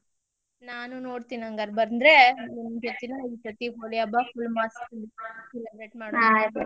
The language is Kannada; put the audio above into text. ನಾನು ನೋಡ್ತೀನಿ ಹಂಗಾರ್ ಬಂದ್ರೆ ಇಬ್ರು ಕೂಡಿ ಹಬ್ಬಾ full celebrate .